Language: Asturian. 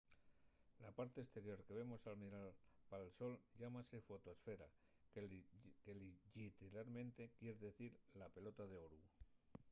la parte esterior que vemos al mirar pal sol llámase la fotoesfera que lliteralmente quier dicir la pelota d’oru